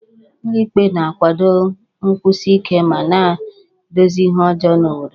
Ụlọ ikpe na-akwado nkwụsi ike ma na-edozi ihe ọjọọ n'obodo